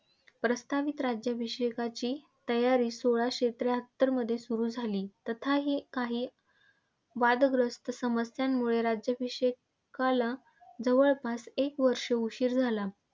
प्रास्ताविक राज्याभिषेकाची तयारी सोळाशे त्र्याहत्तर मध्ये सुरु झाली. तसाही काही वादग्रस्त समस्यांमुळे राज्याभिषेकाला जवळपास एक वर्ष उशीर झाला.